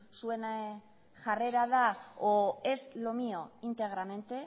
zuen jarrera da o es lo mío integramente